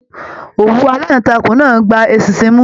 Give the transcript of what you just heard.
Òwú alantakun náà gbà eṣinṣin mú.